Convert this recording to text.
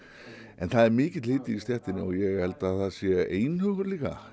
en það er mikill hiti í stéttinni og ég held að það sé einhugur líka